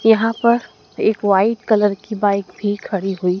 यहां पर एक वाइट कलर की बाइक भी खड़ी हुई--